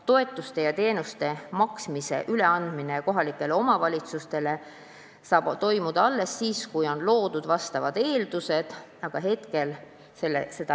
Toetuste ja teenuste maksmise üleandmine kohalikele omavalitsustele saab toimuda alles siis, kui on loodud vastavad eeldused, aga praegu neid ei ole.